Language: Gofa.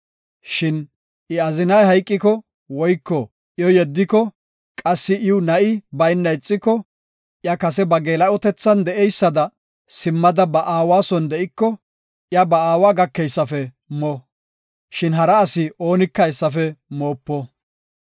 Shin I azinay hayqiko woyko iyo yeddiko qassi iw na7i bayna ixiko, iya kase ba geela7otethan de7idaysada simmada ba aawa son de7iko, iya ba aawa gakeysafe mo. Shin hara asi oonika hessafe moopo.